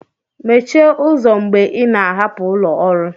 mechie ụzọ mgbe ị na-ahapụ ụlọ ọrụ